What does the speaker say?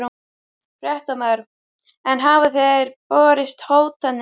Fréttamaður: En hafa þér borist hótanir?